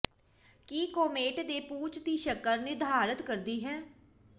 ਕੀ comet ਦੇ ਪੂਛ ਦੀ ਸ਼ਕਲ ਨਿਰਧਾਰਤ ਕਰਦੀ ਹੈ